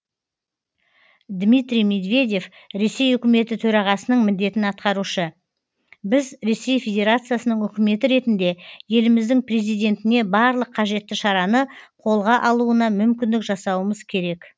дмитрий медведев ресей үкіметі төрағасының міндетін атқарушы біз ресей федерациясының үкіметі ретінде еліміздің президентіне барлық қажетті шараны қолға алуына мүмкіндік жасауымыз керек